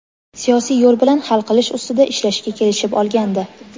siyosiy yo‘l bilan hal qilish ustida ishlashga kelishib olgandi.